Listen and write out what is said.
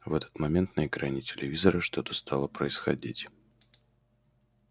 в этот момент на экране телевизора что-то стало происходить